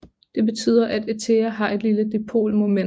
Det betyder at ethere har et lille dipolmoment